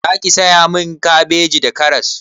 Zaki saya min kabeji da karas?